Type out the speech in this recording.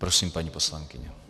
Prosím, paní poslankyně.